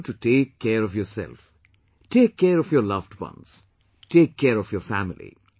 I urge you to take care of yourself...take care of your loved ones...take care of your family